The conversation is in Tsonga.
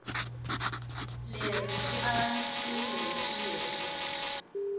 leri ri avanyisiwile hi swiyenge